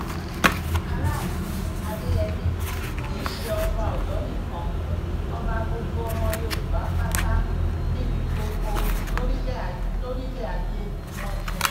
alaàfin adeyemi kì í ṣe ọba ọyọ́ nìkan ọba gbogbo ọmọ yorùbá pátá níbi gbogbo lórílẹ̀ ayé ni wọ́n jẹ́